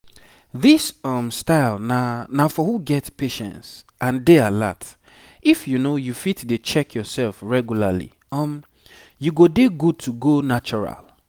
this um style na na for who get patience and dey alert. if you fit dey check yourself regularly um you dey good to go natural.